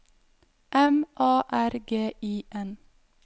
M A R G I N